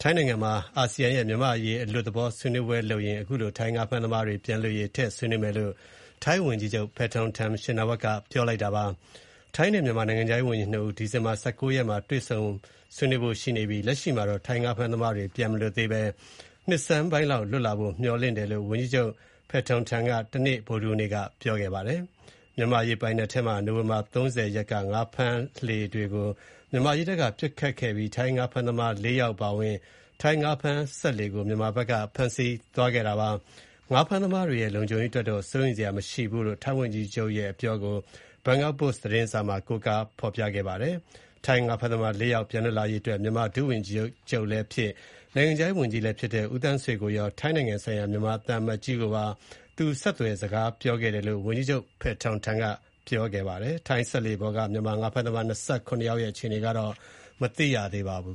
ထိုင်းနိုင်ငံမှာ မြန်မာ့အရေးအလွတ်သဘောဆွေးနွေးပွဲမှာ ထိုင်းငါးဖမ်းသမားတွေ ပြန်လွတ်ရေးကို ထည့်ဆွေးနွေးမယ်လို့ ထိုင်းဝန်ကြီးချုပ်က ပြောကြားလိုက်ပါတယ်။ ထိုင်းနိုင်ငံခြားရေးဝန်ကြီးနဲ့ မြန်မာနိုင်ငံခြားရေးဝန်ကြီးတို့ ဒီဇင်ဘာ ၁၉ ရက်မှာ တွေ့ဆုံဆွေးနွေးကြဖို့ရှိကြောင်းနဲ့ လက်ရှိမှာတော့ ထိုင်းငါးဖမ်းသမားတွေ ပြန်မလွတ်သေးဘဲ နှစ်ဆန်းပိုင်းလောက်မှာ လွတ်လာနိုင်တယ်လို့ မျှော်လင့်ကြောင်း ဝန်ကြီးချုပ် Paetongtarn Shinawatra က ဗုဒ္ဓဟူးနေ့က ပြောခဲ့တာြဖစ်ပါတယ်။ မြန်မာရေပိုင်နက်ထဲမှာ နိုဝင်ဘာ ၃၀ ရက်က ထိုင်းငါးဖမ်းလှေတွေကို မြန်မာရေတပ်က ပစ်ခတ်ခဲ့ပြီး ထိုင်းငါးဖမ်းသမား ၄ ယောက်အပါအဝင် ထိုင်းငါးဖမ်းစက်လှေကို မြန်မာဘက်က ဖမ်းဆီးသွားခဲ့တာပါ။ ငါးဖမ်းသမားတွေရဲ့ လုံခြုံရေးအတွက်တော့ စိုးရိမ်စရာမရှိဘူးလို့ ထိုင်းဝန်ကြီးချုပ်ရဲ့ အပြောကို Bangkok Post သတင်းစာမှာ ကိုးကားဖော်ပြပါတယ်။ ထိုင်းငါးဖမ်းသမား ၄ ယောက်ပြန်လွတ်ရေး အတွက် မြန်မာ ဒုဝန်ကြီးချုပ်လည်းဖြစ်၊ နိုင်ငံခြားရေးဝန်ကြီးလည်းဖြစ်တဲ့ ဦးသန်းဆွေကိုရော ထိုင်းနိုင်ငံဆိုင်ရာ မြန်မာ သံအမတ်ကြီးကိုပါ သူဆက်သွယ်စကားပြောခဲ့တယ်လို့ ဝန်ကြီးချုပ် Paetongtarn ကပြောကြားခဲ့ပါတယ်။ ထိုင်းစက်လှေပေါ်က မြန်မာငါးဖမ်းသမား ၂၇ ယောက်ရဲ့ အခြေအနေကတော့ မသိရသေးပါဘူ